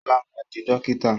Ṣọlá ma di dókítà!